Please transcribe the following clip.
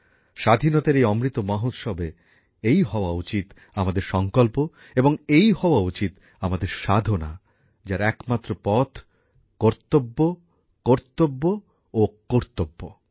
স্বাধীনতার এই অমৃত মহোৎসবে এই হওয়া উচিত আমাদের সংকল্প এবং এই হওয়া উচিত আমাদের সাধনা যার একমাত্র পথ কর্তব্য কর্তব্য ও কর্তব্য